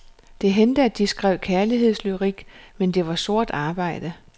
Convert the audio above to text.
Det hændte at de skrev kærlighedslyrik, men det var sort arbejde.